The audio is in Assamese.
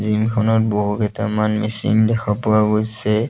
জিম খনত বহু কেইটামান মেচিন দেখা পোৱা গৈছে।